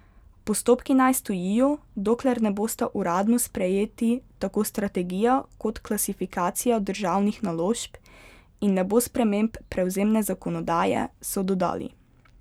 Postopki naj stojijo, dokler ne bosta uradno sprejeti tako strategija kot klasifikacija državnih naložb in ne bo sprememb prevzemne zakonodaje, so dodali.